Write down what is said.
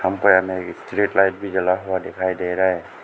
हमको यहां में स्ट्रीट लाइट भी जला हुआ दिखाई दे रहा है।